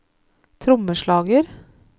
trommeslager